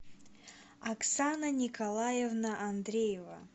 оксана николаевна андреева